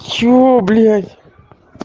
чего блять